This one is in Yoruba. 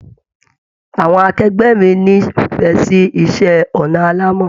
Àwọn akẹgbẹ mí n'ifẹ sì iṣẹ ọnà alàmọ́.